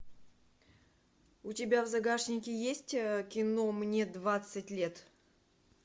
у тебя в загашнике есть кино мне двадцать лет